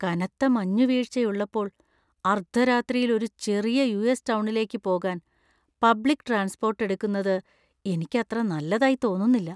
കനത്ത മഞ്ഞുവീഴ്ചയുള്ളപ്പോൾ അർദ്ധരാത്രിയിൽ ഒരു ചെറിയ യു.എസ്. ടൗണിലേക്ക് പോകാൻ പബ്ലിക്ട്രാന്‍സ്പോര്‍ട്ട് എടുക്കുന്നത് എനിക്ക് അത്ര നല്ലതായി തോന്നുന്നില്ല.